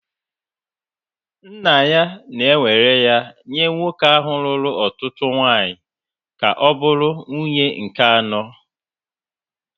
Nna ya na-ewere ya nye nwoke ahụ lụrụ ọtụtụ nwunye ka ọ bụrụ nwunye nke anọ